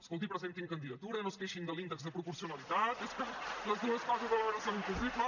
escolti presentin candidatura no es queixin de l’índex de proporcionalitat és que les dues coses alhora són impossibles